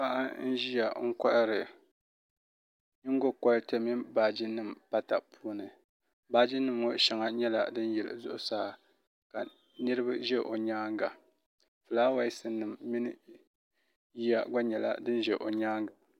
paɣa n ʒiya n kohari nyingokori mini baaji nim daa puuni baaji nim ŋo shɛŋa nyɛla din yili zuɣusaa ka niraba ʒɛ o nyaanga fulaawaasi nim mini yiya gba nyɛla din ʒɛ o nyaanga